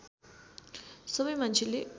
सबै मान्छेले